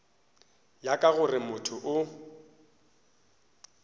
ya ka gore motho o